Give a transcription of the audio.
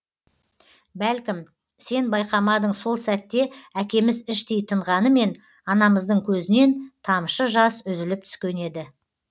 бәлкім сен байқамадың сол сәтте әкеміз іштей тынғанымен анамыздың көзінен тамшы жас үзіліп түскен еді